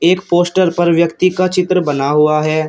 एक पोस्टर पर व्यक्ति का चित्र बना हुआ है।